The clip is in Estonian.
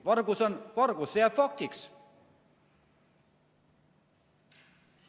Vargus on vargus, see jääb faktiks.